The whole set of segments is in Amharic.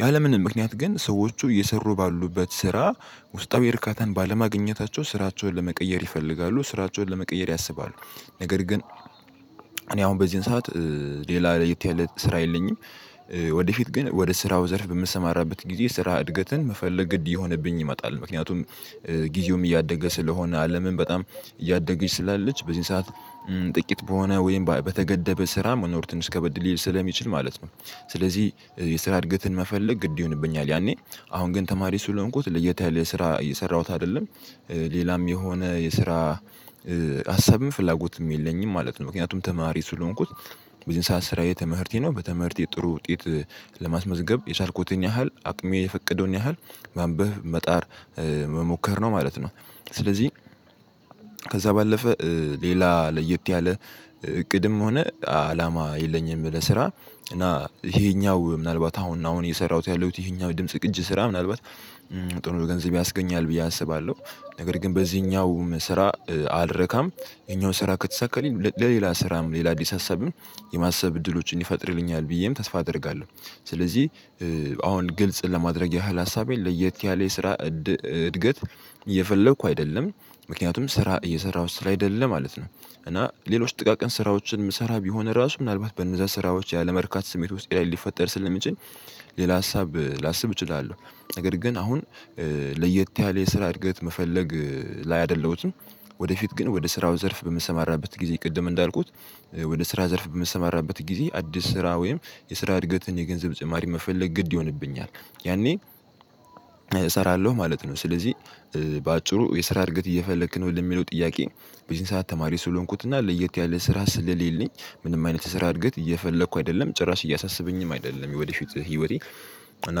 ያለምንም ምክንያት ግን ሰዎቹ እየሰሩ ባሉበት ስራ ውስጣዊ እርካታን ባለማግኘታቸው ስራቸውን ለመቀየር ይፈልጋሉ ስራቸውን ለመቀየር ያስባሉ። ነገር ግን እኔ አሁን በዚህን ሰዓት ሌላ ለየት ያለ ስራ የለኝም። ወደፊት ግን ወደ ስራው ዘርፍ በምትሰማራበት ጊዜ ስራ እድገትን መፈለግ ግድ የሆነብኝ ይመጣል። ምክንያቱም ጊዜውም እያደገ ስለሆነ አለምን በጣም እያደገች ስላለች በዚህ ሰዓት ጥቂት በሆነ ወይም በተገደበ ስራ መኖር ትንሽ ከበድ ሊል ስለሚችል ማለት ነው። ስለዚህ የስራ እድገትን መፈለግ ግድ ይሆንብኛል ያኔ አሁን ግን ተማሪ ስለሆንኩት ለየት ያለ የስራ እየሰራሁት አይደለም። ሌላም የሆነ የስራ ሀሳብም ፍላጎትም የለኝም ማለት ነው። ምክንያቱም ተማሪ ስለሆንኩት በዚህን ሰዓት ስራዬ ትምህርቴ ነው በትምህርቴ ጥሩ ውጤት። ለማስመዝገብ የቻልኩትን ያህል አቅሜ የፈቀደውን ያህል ማንበብ መጣር መሞከር ነው ማለት ነው። ስለዚህ ከዛ ባለፈ ሌላ ለየት ያለ እቅድም ሆነ አላማ የለኝም። ለስራ እና ይሄኛው ምናልባት አሁን አሁን እየሰራሁት ያለሁት ይሄኛው ድምጽ ቅጅ ስራ ምናልባት ጥሩ ገንዘብ ያስገኛል ብዬ አስባለሁ። ነገር ግን በዚህኛው ስራ አልረካም። ይሄኛው ስራ ከተሳካልኝ ለሌላ ስራም ሌላ አዲስ ሀሳብም የማሰብ እድሎችን ይፈጥርልኛል ብዬም ተስፋ አደርጋለሁ። ስለዚህ አሁን ግልጽ ለማድረግ ያህል ሀሳቤን ለየት ያለ የስራ እድገት እየፈለኩ አይደለም። ምክንያቱም ስራ እየሰራሁ ስላይደለ ማለት ነው። እና ሌሎች ጥቃቅን ስራዎችን የምሰራ ቢሆን ራሱ ምናልባት በነዛ ስራዎች ያለመርካት ስሜት ውስጤ ላይ ሊፈጠር ስለሚችል። ሌላ ሀሳብ ላስብ እችላለሁ ነገር ግን አሁን ለየት ያለ የስራ እድገት መፈለግ ላይ አይደለሁትም። ወደፊት ግን ወደ ስራው ዘርፍ በምሰማራበት ጊዜ ቅድም እንዳልኩት ወደ ስራ ዘርፍ በምሰማራበት ጊዜ አዲስ ስራ ወይም የስራ እድገትን የገንዘብ ጭማሪ መፈለግ ግድ ይሆንብኛል። ያኔ እሰራለሁ ማለት ነው ስለዚህ በአጭሩ የስራ እድገት እየፈለክ ነው ለሚለው ጥያቄ? በዚህ ሰዓት ተማሪ ስለሆንኩትና ለየት ያለ ስራ ስለሌለኝ ምንም አይነት ስራ እድገት እየፈለኩ አይደለም ጭራሽ እያሳሰበኝም አይደለም የወደፊት ህይወቴ። እና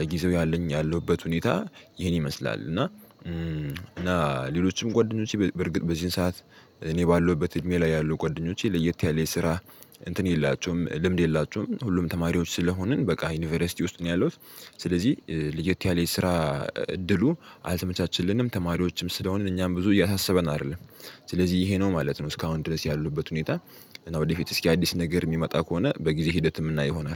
ለጊዜው ያለኝ ያለሁበት ሁኔታ ይሄን ይመስላል። እና እና ሌሎችም ጓደኞቼ በርግጥ በዚህን ሰዓት እኔ ባለሁበት እድሜ ላይ ያሉ ጓደኞቼ ለየት ያለ የስራ እንትን የላቸውም ልምድ የላችሁም ሁሉም ተማሪዎች ስለሆንን በቃ ዩኒቨርሲቲ ውስጥ ነው ያለው። ስለዚህ ለየት ያለ የስራ እድሉ አልተመቻችልንም ተማሪዎችም ስለሆንን እኛም ብዙ እያሳሰበን አይደለም። ስለዚህ ይሄ ነው ማለት ነው እስካሁን ድረስ ያለሁበት ሁኔታ። እና ወደፊት እስኪ አዲስ ነገር የሚመጣ ከሆነ በጊዜ ሂደትም ይሆናል